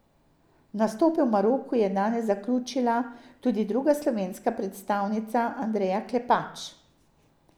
Nastope v Maroku je danes zaključila tudi druga slovenska predstavnica Andreja Klepač.